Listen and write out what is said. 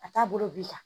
A t'a bolo bi kan